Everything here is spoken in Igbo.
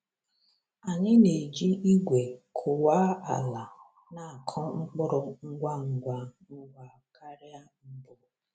Anyị na-eji igwe kụwa ala na-akụ mkpụrụ ngwa ngwa ngwa karịa mbụ.